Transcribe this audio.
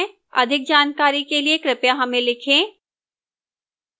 अधिक जानकारी के लिए कृपया हमें लिखें